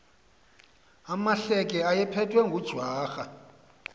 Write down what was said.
amahleke ayephethwe ngujwarha